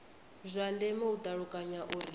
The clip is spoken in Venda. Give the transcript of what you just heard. zwa ndeme u ṱalukanya uri